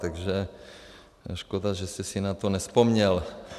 Takže škoda, že jste si na to nevzpomněl.